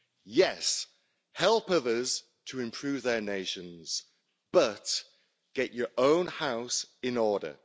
Yes, help others to improve their nations, but get your own house in order.